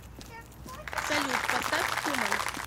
салют поставь хуман